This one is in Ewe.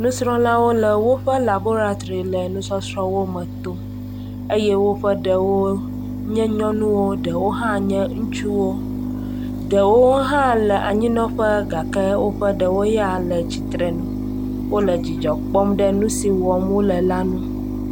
Nusrɔ̃lawo le woƒe labolatri le nusɔsrɔ̃wo me tom eye woƒe ɖewo nye nyɔnuwo eye ɖewo hã nye ŋutsuwo. Ɖewo hã le anyinɔƒe ke woƒe ɖewo yea le tsitre ŋu. Wole dzidzɔ kpɔm ɖe nu si wɔm wole la ŋu